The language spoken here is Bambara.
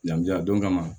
Ɲangili a don kama